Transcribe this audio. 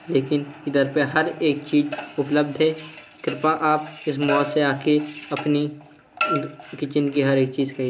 लेकिन इधर पर हर एक चीज उपलब्ध है| कृपया आप इस मॉल से आकर अपनी किचिन की हर एक चीज खरीदें --